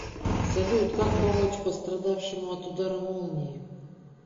салют как помочь пострадавшему от удара молнии